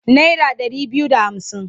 Naira ɗari biyu da hamsin.